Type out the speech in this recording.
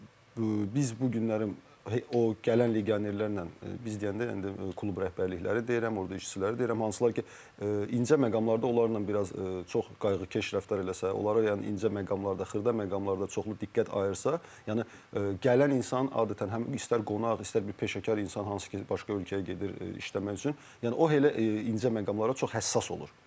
Və biz bu günləri o gələn legionerlərlə biz deyəndə klub rəhbərlikləri deyirəm, orda işçiləri deyirəm, hansı ki incə məqamlarda onlarla biraz çox qayğıkeş rəftar eləsək, onlara yəni incə məqamlarda, xırda məqamlarda çoxlu diqqət ayırsaq, yəni gələn insan adətən həm istər qonaq, istər bir peşəkar insan hansı ki başqa ölkəyə gedir işləmək üçün, yəni o elə incə məqamlara çox həssas olur.